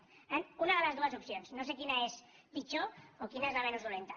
per tant unes de les dues opcions no sé quina és pitjor o quina és la menys dolenta